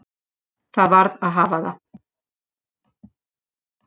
Það varð að hafa það.